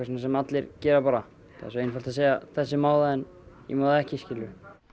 sem allir gera bara það er svo einfalt að segja þessi má það en ég má það ekki skilurðu